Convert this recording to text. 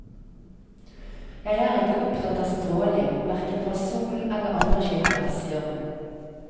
Jeg er ikke opptatt av stråling, hverken fra solen eller andre kilder, sier hun.